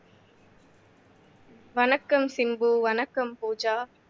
வணக்கம் சிம்பு வணக்கம் பூஜா